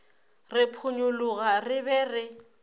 re ponyologa re be re